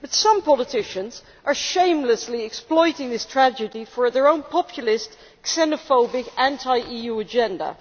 But some politicians are shamelessly exploiting this tragedy for their own populist, xenophobic, anti EU agenda.